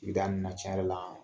N tɛ hali na can yɛrɛ la.